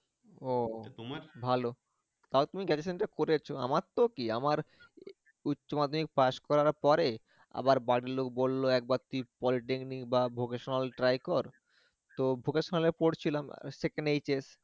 ও ভালো, তাউ তুমি generation টা করেছো আমার তো কি আমার উচ্চমাধ্যমিক পাশ করার পরে আবার বাড়িরলোক বলল, একবার তুই polytechnic বা vocational try কর, তো vocational এ পড়ছিলাম